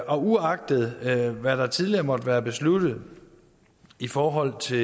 og uagtet hvad der tidligere måtte være besluttet i forhold til